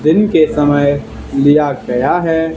दिन के समय लिया गया है।